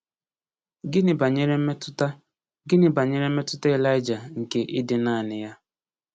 Gịnị banyere mmetụta Gịnị banyere mmetụta Elija nke ịdị naanị ya?